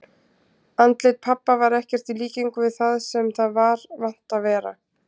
Andlit pabba var ekkert í líkingu við það sem það var vant að vera.